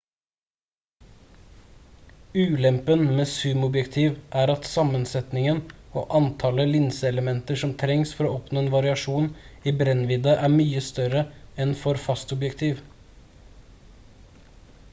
ulempen med zoomobjektiv er at sammensetningen og antallet linseelementer som trengs for å oppnå en variasjon i brennvidde er mye større enn for fastobjektiv